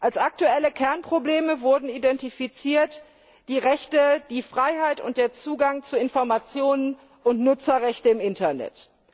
Als aktuelle Kernprobleme wurden identifiziert die Rechte, die Freiheit und der Zugang zu Informationen und Nutzerrechte im Internet.